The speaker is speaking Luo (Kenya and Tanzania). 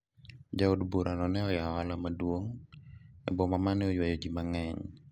jaod bura no ne oyawo ohala maduong' e boma mane ywayo ji mang'eny